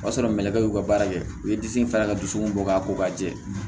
O y'a sɔrɔ mɛlɛkɛ y'u ka baara kɛ u ye disi fara ka dusu mun bɔ k'a ko k'a jɛ